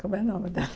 Como é o nome dela?